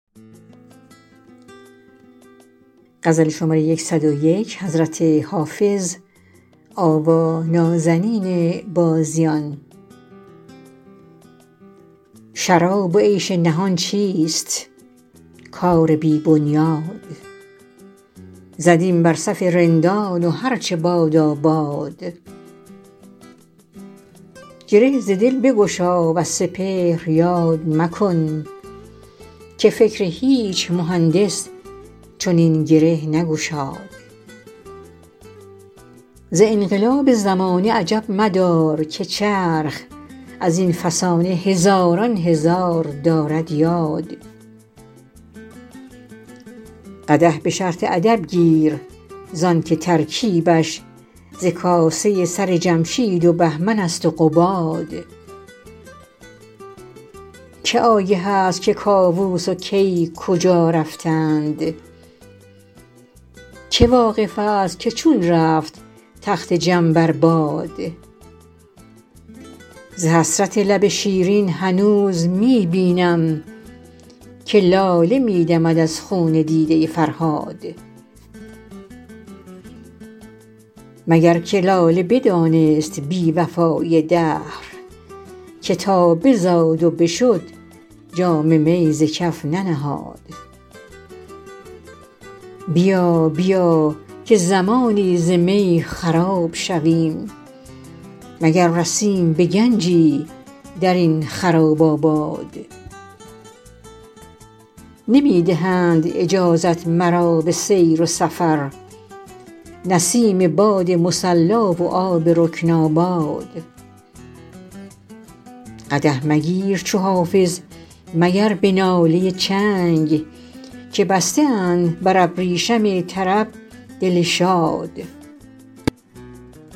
شراب و عیش نهان چیست کار بی بنیاد زدیم بر صف رندان و هر چه بادا باد گره ز دل بگشا وز سپهر یاد مکن که فکر هیچ مهندس چنین گره نگشاد ز انقلاب زمانه عجب مدار که چرخ از این فسانه هزاران هزار دارد یاد قدح به شرط ادب گیر زان که ترکیبش ز کاسه سر جمشید و بهمن است و قباد که آگه است که کاووس و کی کجا رفتند که واقف است که چون رفت تخت جم بر باد ز حسرت لب شیرین هنوز می بینم که لاله می دمد از خون دیده فرهاد مگر که لاله بدانست بی وفایی دهر که تا بزاد و بشد جام می ز کف ننهاد بیا بیا که زمانی ز می خراب شویم مگر رسیم به گنجی در این خراب آباد نمی دهند اجازت مرا به سیر سفر نسیم باد مصلا و آب رکن آباد قدح مگیر چو حافظ مگر به ناله چنگ که بسته اند بر ابریشم طرب دل شاد